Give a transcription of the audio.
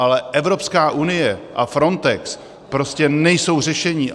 Ale Evropská unie a Frontex prostě nejsou řešení.